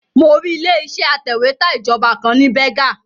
Mo rí ilé iṣẹ́ atẹ̀wẹ́tà ìjọba kan ní Berger